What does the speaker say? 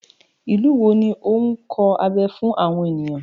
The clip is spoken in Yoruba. Ìlú wo ni ó ń kọ abẹ fún àwọn ènìyàn?